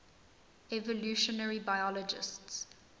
evolutionary biologists